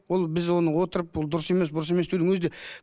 ол біз оны отырып бұл дұрыс емес бұрыс емес деудің өзі де